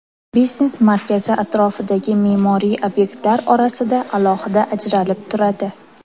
Biznes markazi atrofdagi me’moriy obyektlar orasida alohida ajralib turadi.